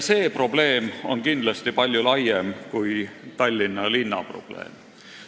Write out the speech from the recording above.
See probleem on aga kindlasti palju laiem kui Tallinna linna probleem.